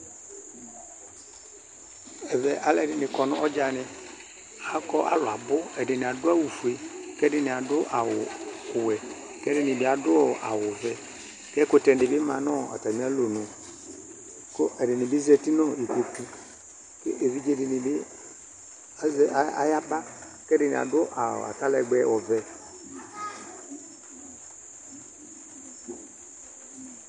Ɛvɛ alʊɛdinɩ akɔ nɔɖzanɩ Akɔ alʊabʊ Ɛdɩnɩ adʊ awʊfue, kɛdini adʊ awʊwɛ, kɛdɩnɩbɩ adʊ awʊvɛ Kɛkʊtɛ dibi ma nʊ atamɩalɔnʊ Ku ɛdinibi zatɩ nu ɩkpokʊ Kevɩɖze dinɩbi ayaba, kɛdini adʊ aralɛgbɛ ɔvɛ